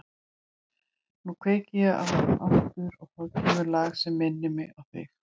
Nú kveiki ég á þeim aftur og þá kemur lag sem minnir mig á þig.